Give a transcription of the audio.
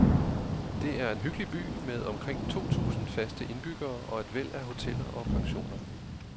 Det er en hyggelig by med omkring to tusind faste indbyggere og et væld af hoteller og pensioner.